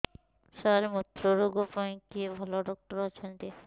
ସାର ମୁତ୍ରରୋଗ ପାଇଁ କିଏ ଭଲ ଡକ୍ଟର ଅଛନ୍ତି